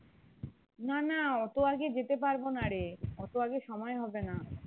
না না অত আগে যেতে পারবো না রে অত আগে সময়ে হবে না